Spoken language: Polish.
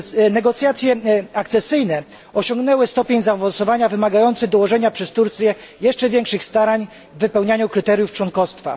Negocjacje akcesyjne osiągnęły stopień zaawansowania wymagający dołożenia przez Turcję jeszcze większych starań w wypełnianiu kryteriów członkostwa.